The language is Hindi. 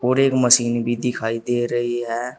और एक मशीन भी दिखाई दे रही है।